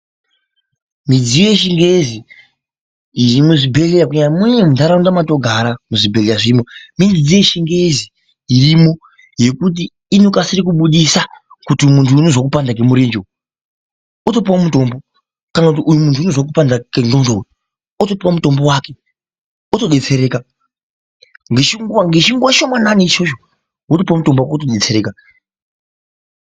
Midziyo yechingezi iri muzvibhedhleya kunyanya muntaraunda mwetinogara muzvibhedhlera zvirimo mune mudziyo yevhingezi irimo yekuti i okasire kubudisa kuti uyu munyu unozwe kupanda kwemurenje otopuwa mutombo kana kuti munyu uyu unozwe kupanda kwengondo otopuwa mutombo otodetsereka ngechinguwa ngechinguwa chishomanani ichocho wotopuwa mutombo wako wotodetsereka.